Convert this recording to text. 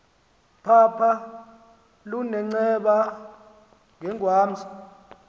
phapha lunenceba yengwamza